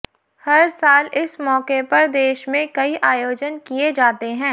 हर साल इस मौके पर देश में कई आयोजन किए जाते हैं